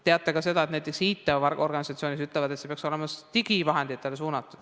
Teate ka seda, et näiteks IT-organisatsioonid ütlevad, et see peaks olema digivahenditele suunatud.